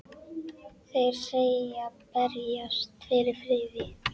Þeir segjast berjast fyrir friði.